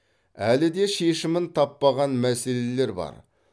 әлі де шешімін таппаған мәселелер бар